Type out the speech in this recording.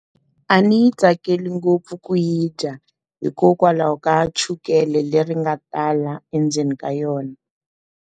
A ni yi tsakeli ngopfu ku yi dya hikokwalaho ka chukele leri nga tala endzeni ka yona.